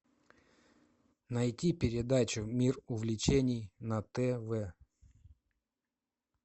найти передачу мир увлечений на тв